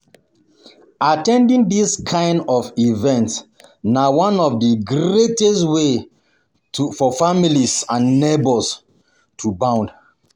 At ten ding this kind of events na one of the greatest greatest ways for families and neighbours to bond.